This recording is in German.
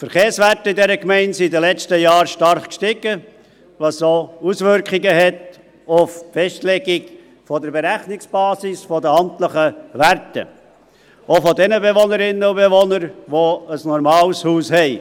Die Verkehrswerte in dieser Gemeinde sind in den letzten Jahren stark gestiegen, was auch Auswirkungen auf die Festlegung der Berechnungsbasis der amtlichen Werte hat – auch bei den Bewohnern, die ein normales Haus haben.